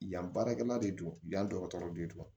Yan baarakɛla de don yan dɔgɔtɔrɔ de don